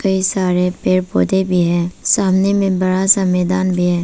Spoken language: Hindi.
कई सारे पेड़ पौधें भी हैं सामने में बड़ा सा मैदान है।